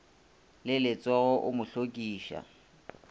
le letsogo o mo hlokiša